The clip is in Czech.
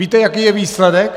Víte, jaký je výsledek?